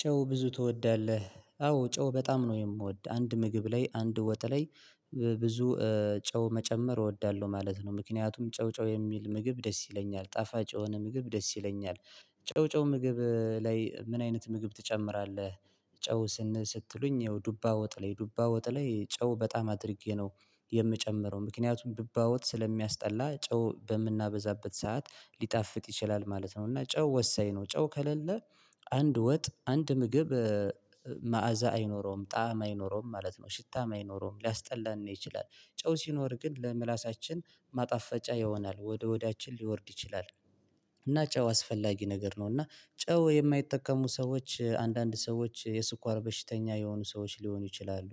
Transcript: ጨው ብዙ ትወዳለህ? አዎ ጨው በጣም ነው የምወድ አንድ ምግብ ላይ አንድ ወጥ ላይ ብዙ ጨው መጨመር እወዳለሁ ማለት ነው። ምክንያቱም ጨው ጨው የሚል ምግብ ደስ ይለኛል ጣፋጭ የሆነ ምግብ ደስ ይለኛል። ጨው ጨው ምግብ ላይ ምን አይነት ምግብ ትጨምራለህ? ጨው ስን ስትሉኝ ያው ዱባ ወጥ ላይ ዱባ ወጥ ላይ ጨው በጣም አድርጌ ነው የምጨምረው ምክንያቱም ዱባ ወጥ ስለሚያስጠላ ጨው በምናበዛበት ሰዓት ሊጣፍጥ ይችላል ማለት ነው። እና ጨው ወሳኝ ነው ጨው ከሌለ አንድ ወጥ አንድ ምግብ መዓዛ አይኖረውም ጣዕም አይኖረውም ማለት ነው ሽታም አይኖረውም ሊያስጠላን ይችላል። ጨው ሲኖር ግን ለምላሳችን ማጣፈጫ ይሆናል ወደ ሆዳችን ሊወርድ ይችላል። እና ጨው አስፈላጊ ነገር ነው እና ጨው የማይጠቀሙ ሰዎች አንዳንድ ሰዎች የስኳር በሽተኛ የሆኑ ሰዎች ሊሆኑ ይችላሉ።